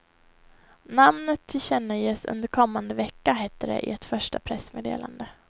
Namnet tillkännages under kommande vecka, hette det i ett första pressmeddelande.